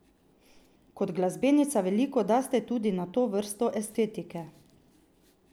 Kot glasbenica veliko daste tudi na to vrsto estetike.